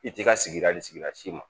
I t'i ka sigida ni sigida si ma